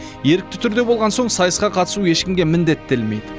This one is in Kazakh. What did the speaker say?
ерікті түрде болған соң сайысқа қатысу ешкімге міндеттелмейді